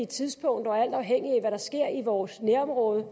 tidspunkter alt afhængigt af hvad der sker i vores nærområde